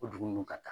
O dugu ninnu ka taa